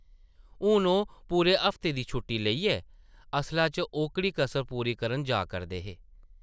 हून ओह् पूरे हफ्ते दी छुट्टी लेइयै असला च ओह्कड़ी कसर पूरी करन जा करदे हे ।